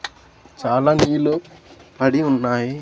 చాలా నీళ్లు పడి ఉన్నాయి.